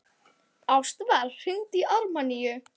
Ástvar, hringdu í Ármanníu.